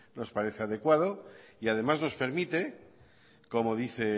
nos parece adecuado y además nos permite como dice